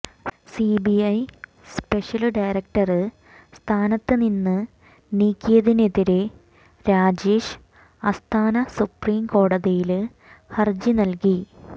CBI special director സ്ഥാനത്ത് നിന്ന് നീക്കിയതിനെതിരെ രാജേഷ് അസ്താന സുപ്രീം കോടതിയില് ഹരജി നല്കി